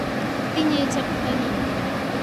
Tinyei cheptonin ----